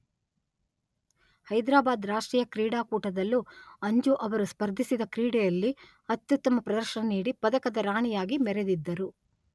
ಹೈದ್ರಾಬಾದ್ ರಾಷ್ಟ್ರೀಯ ಕ್ರೀಡಾಕೂಟದಲ್ಲೂ ಅಂಜು ಅವರು ಸ್ಪರ್ಧಿಸಿದ ಕ್ರೀಡೆಯಲ್ಲಿ ಅತ್ಯುತ್ತಮ ಪ್ರದರ್ಶನ ನೀಡಿ ಪದಕದ ರಾಣಿಯಾಗಿ ಮೆರೆದಿದ್ದರು.